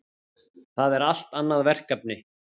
Það er allt annað verkefni.